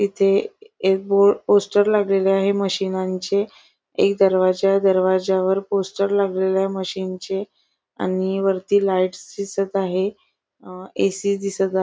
इथे एक बो पोस्टर लागलेलं पोस्टर आहे मशिनांचे एक दरवाजा आहे दरवाजावर पोस्टर लागलेला आहे मशीनचे आणि वरती लाइट्स दिसत आहे अह ए.सी. दिसत आहे.